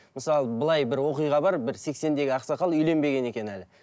мысалы былай бір оқиға бар бір сексендегі ақсақал үйленбеген екен әлі